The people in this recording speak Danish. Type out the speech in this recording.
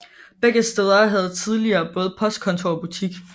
Begge steder havde tidligere både postkontor og butik